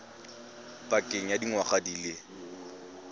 pakeng ya dingwaga di le